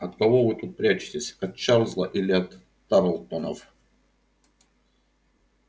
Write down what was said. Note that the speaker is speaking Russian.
от кого вы тут прячетесь от чарлза или от тарлтонов